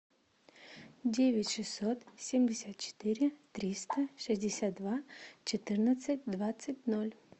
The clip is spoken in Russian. девять шестьсот семьдесят четыре триста шестьдесят два четырнадцать двадцать ноль